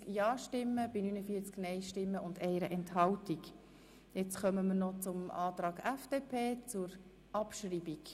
Jetzt kommen wir zum Antrag FDP, zur Abschreibung.